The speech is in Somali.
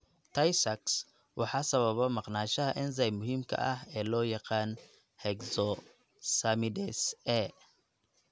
Tay Sachs waxaa sababa maqnaanshaha enzyme muhiimka ah ee loo yaqaan hexosaminidase A (Hex A).